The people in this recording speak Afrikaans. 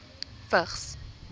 vigs